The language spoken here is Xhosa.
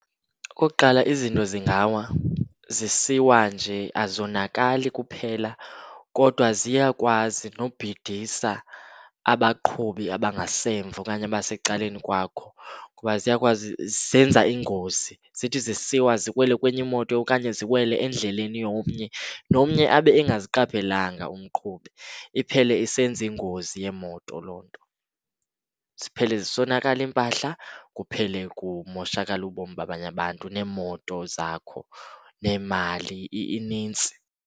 Okokuqala, izinto zingawa, zisiwa nje azonakali kuphela kodwa ziyakwazi nobhidisa abaqhubi abangasemva okanye abasecaleni kwakho. Ngoba ziyakwazi, zenza iingozi, zithi zisiwa ziwele kwenye imoto okanye ziwele endleleni yomnye, nomnye abe engaziqaphelanga umqhubi iphele isenza ingozi yeemoto loo nto. Ziphele zisonakala iimpahla, kuphele kumoshakala ubomi babanye abantu neemoto zakho, neemali, inintsi.